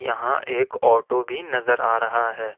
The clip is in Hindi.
यहां एक ऑटो भी नजर आ रहा है।